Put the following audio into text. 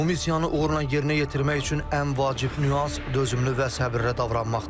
Bu missiyanı uğurla yerinə yetirmək üçün ən vacib nüans dözümlü və səbirlə davranmaqdır.